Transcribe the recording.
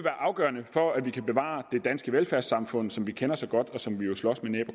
afgørende for at vi kan bevare det danske velfærdssamfund som vi kender så godt og som vi jo slås med næb og